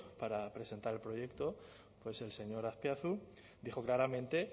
para presentar el proyecto pues el señor azpiazu dijo claramente